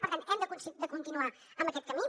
per tant hem de continuar en aquest camí